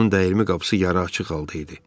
Onun dəyirmi qapısı yarı açıq qaldı idi.